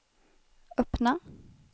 öppna